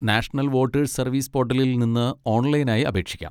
National voters service പോർട്ടലിൽ നിന്ന് ഓൺലൈനായി അപേക്ഷിക്കാം.